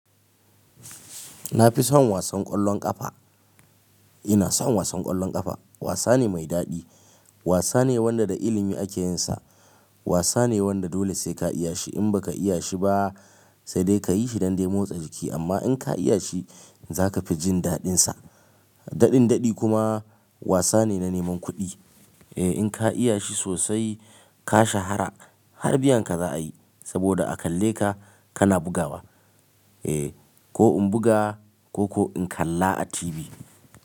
Na fi son wasan ƙwallon ƙafa. Ina son wasan ƙwallon ƙafa. Wasa ne mai daɗi. Wasa ne wanda da ilimi ake yin sa. Wasa ne wanda dole sai ka iya shi, in baka iya shi ba sai dai ka yi shi don dai motsa jiki amma indai ka iya shi za ka fi jin daɗinsa. Daɗin daɗi kuma wasa ne na neman kuɗi. Eh, in ka iya shi sosai ka shahara har biyan ka za a yi saboda a kalle ka kana bugawa. Eh, ko in buga ko ko in kalla a TV.